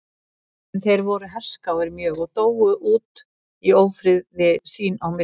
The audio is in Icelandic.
En þeir voru herskáir mjög og dóu út í ófriði sín á milli.